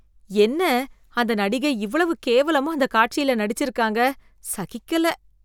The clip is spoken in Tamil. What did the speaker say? என்ன அந்த நடிகை இவ்வளவு கேவலமா அந்த காட்சியில நடிச்சிருக்காங்க, சகிக்கல.